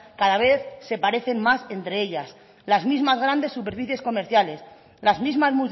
cada vez se parecen más entre ellas las mismas grandes superficies comerciales las mismas